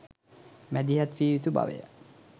මැදිහත් විය යුතු බවය.